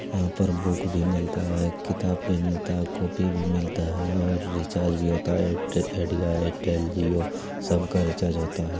यहाँ पर बुक भी मिलता है किताब भी मिलता है कॉपी भी मिलता है और रिचार्ज भी होता है|आईडिया एयरटेल जिओ सबका रिचार्ज होता है।